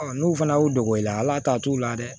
n'u fana y'u dogo i la ala ta t'u la dɛ